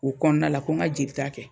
U kɔnɔna la ko n ka jeli ta kɛ.